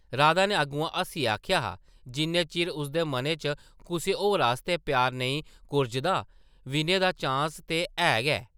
राधा नै अग्गुआं हस्सियै आखेआ हा जिन्ने चिर उसदे मनै च कुसै होर आस्तै प्यार नेईं कुरजदा विनय दा चांस ते है गै ।